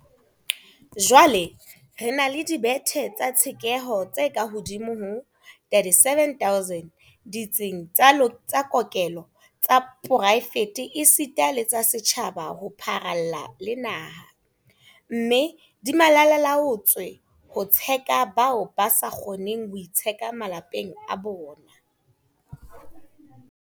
Jwale re na le dibethe tsa tshekeho tse kahodimo ho 37 000 ditsing tsa kokelo tsa poraefete esita le tsa setjhaba ho pharalla le naha, mme di malalaalaotswe ho tsheka bao ba sa kgoneng ho itsheka malapeng a bona.